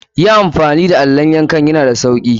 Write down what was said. Yi amfani da allon yanka yan da sauki.